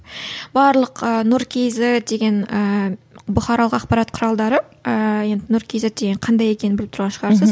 барлық ы нұр кейзет деген ііі бұқаралық ақпарат құралдары ііі енді нұр кейзет деген қандай екенін біліп тұрған шығарсыз